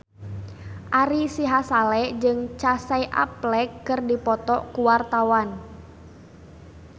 Ari Sihasale jeung Casey Affleck keur dipoto ku wartawan